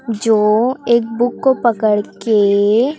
जो एक बुक को पकड़ के--